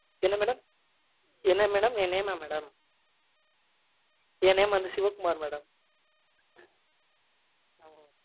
என்ன madam என்ன madam, என் name மா madam? என் name வந்து சிவக்குமார் madam